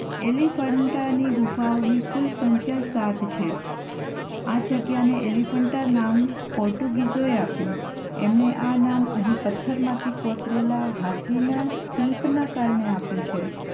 એલિફન્ટાની ગુફાઓની કુલ સંખ્યા સાત છે. આ જગ્યાને એલિફન્ટા નામ પોર્ટુગીઝોએ આપ્યું. એમણે આ નામ અહીં પથ્થરમાંથી કોતરેલા હાથીના શિલ્પના કારણે આપ્યું છે.